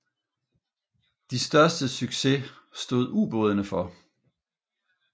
De største succes stod ubådene for